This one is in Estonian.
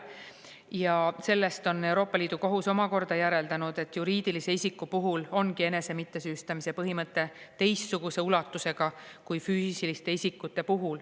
Ja sellest on Euroopa Liidu Kohus omakorda järeldanud, et juriidilise isiku puhul ongi enese mittesüüstamise põhimõte teistsuguse ulatusega kui füüsiliste isikute puhul.